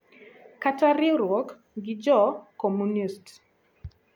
kata riwruok gi jo Komunist.